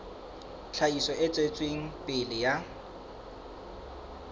tlhahiso e tswetseng pele ya